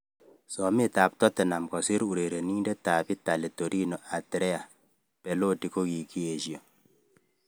Somet ab Tottenham kosir urerenindet ab Italy Torino Andrea Beloti kokikiesho.